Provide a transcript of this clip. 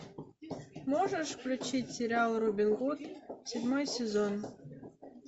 можешь включить сериал робин гуд седьмой сезон